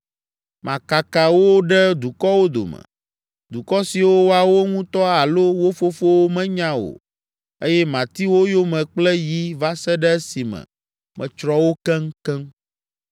Makaka wo ɖe dukɔwo dome, dukɔ siwo woawo ŋutɔ alo wo fofowo menya o eye mati wo yome kple yi va se ɖe esime metsrɔ̃ wo keŋkeŋ.”